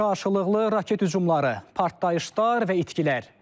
Qarşılıqlı raket hücumları, partlayışlar və itkilər.